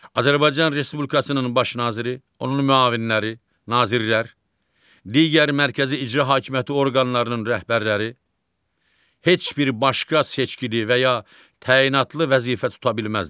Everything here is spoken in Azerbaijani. Azərbaycan Respublikasının Baş Naziri, onun müavinləri, Nazirlər, digər mərkəzi icra hakimiyyəti orqanlarının rəhbərləri heç bir başqa seçkili və ya təyinatlı vəzifə tuta bilməzlər.